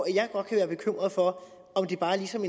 jeg godt være bekymret for om det bare ligesom